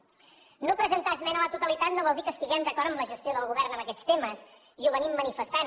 no presentar esmena a la totalitat no vol dir que estiguem d’acord amb la gestió del govern en aquests temes i ho hem manifestat